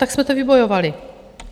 Tak jsme toto vybojovali.